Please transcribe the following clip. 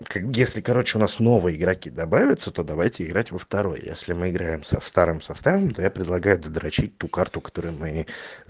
как если короче у нас новые игроки добавятся то давайте играть во второй если мы играем со старым составом то я предлагаю додрочить ту карту которую мы